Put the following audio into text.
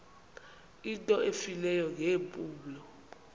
into efileyo ngeempumlo